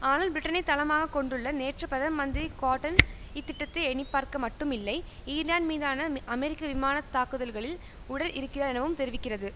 ஆனால் பிரிட்டனை தளமாக கொண்டுள்ள நேற்று பிரதம மந்திரி கார்டன் இத்திட்டத்தை எண்ணிப்பார்க்க மட்டும் இல்லை ஈரான் மீதான அமெரிக்க விமான தாக்குதல்களில் உடன் இருக்கிறார் எனவும் தெரிவிக்கிறது